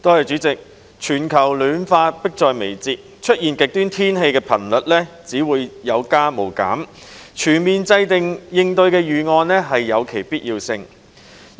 主席，全球暖化迫在眉睫，出現極端天氣的頻率只會有增無減，所以有必要全面制訂應對預案。